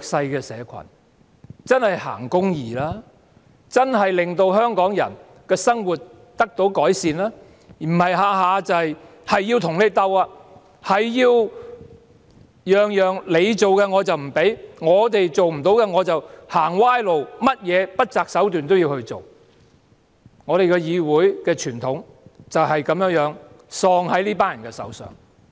勢社群，真正行公義，令香港人的生活得到改善，而不是每每要跟我們鬥，我們提出的建議統統不准許，政府做不到的便走歪路，即使不擇手段也要做，議會的傳統便是喪失在這群人的手上。